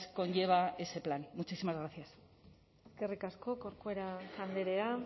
conlleva ese plan muchísimas gracias eskerrik asko corcuera andrea